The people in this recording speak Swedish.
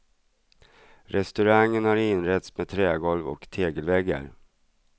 Restaurangen har inretts med trägolv och tegelväggar.